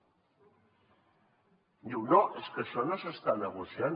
diu no és que això no s’està negociant